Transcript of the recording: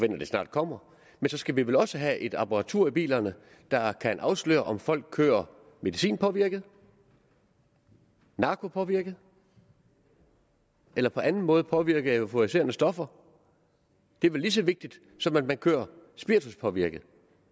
det snart kommer men så skal vi vel også have et apparatur i bilerne der kan afsløre om folk kører medicinpåvirket narkopåvirket eller på anden måde påvirket af euforiserende stoffer det er vel lige så vigtigt som at man kører spirituspåvirket